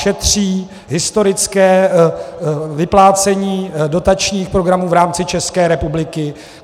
Šetří historické vyplácení dotačních programů v rámci České republiky.